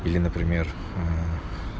или например